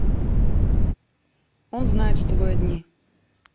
он знает что вы одни